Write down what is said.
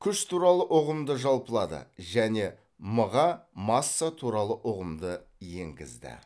күш туралы ұғымды жалпылады және м ға масса туралы ұғымды енгізді